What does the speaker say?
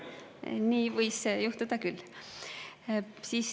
Nii võis juhtuda küll.